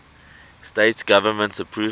states government approval